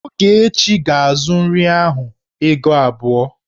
Ogechi ga-azu nri ahụ ego abụọ.